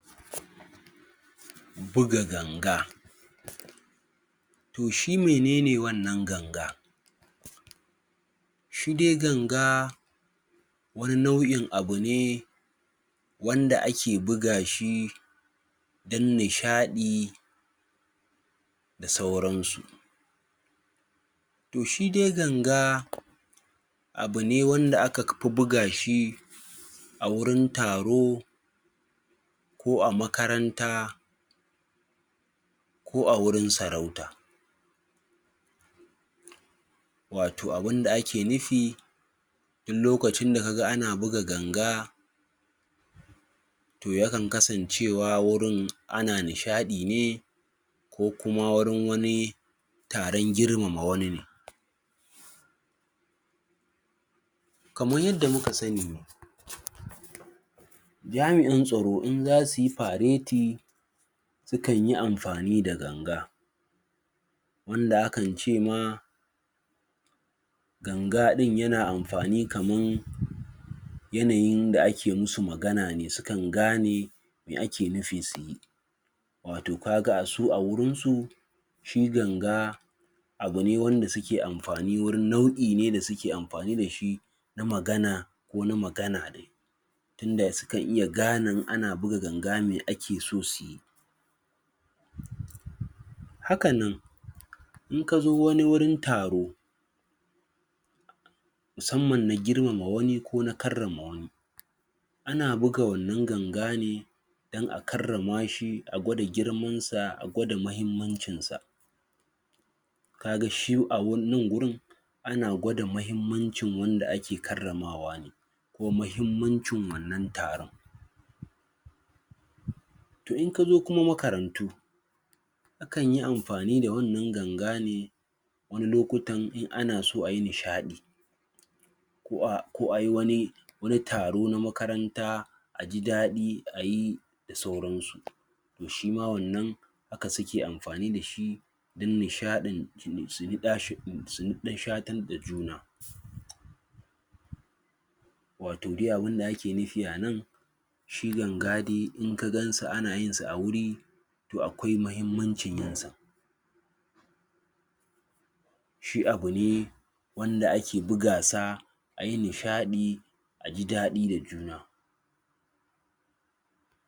buga ganga toh shi menene wannan ganga? shi dai ganga wani nau'in abu ne wanda ake buga shi wanda ake buga shi dan ne shadi da sauran su toh shi dai ganga abu ne wanda aka buga shi a wurin taro ko a makaranta ko a wurin sarauta watau abun da ake nufi duk lokacin da ka ga ana buga ganga toh yakan kasancewa wurin ana nishadi ne ko kuma wurin wani tarin girmama wani ne kamar yadda muka sani jami'in tsaro in za su yi paradi yakan yi amfani d ganga wanda akan ce ma ganga din ya na amfani kaman yanayin da ake musu magana ne su kan ga ne me ake nufi suyi watau ka ga su a wurin su ci ganga abu ne wanda su ke amfani wurin naudi ne su ke amfani da shi na mgana ko na magana dai tun da su nkan iya ganei in ana buga ganga mai ake so su yi hakan nan in ka zo wani wurin taro musamman na girmama wani lo na karer ma wani ana buga wannan ganga ne dan a karrama shi a gwada girman sa a gwada muhimmancin sa ka ga shi a nan wurin ana gwada muhimmancin wanda ake karramawa ko muhimmancin wannan taron toh in ka zo kuma makarantyu akan yiamfani da wannan ganga ne wani lokuta in ana so a yi nishadi ko a yi wani tarona makaranta ko ayi wani taro na makaranta a ji dadi a yi sauran su shi mawannan haka su ke amfani da shi dan nishadin su dan shatan da juna watau dai abun da ake nufi a nan shi ganga dai in ka gan su ana yin su a wuri toh akwai muhimmancin yin sa shu abu ne wanda ake buga sa a yi nishadi a jiadi da juna